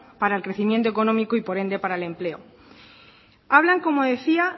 para el crecimiento económico y por ende para el empleo hablan como decía